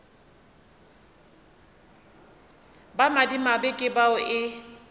ba madimabe ke bao e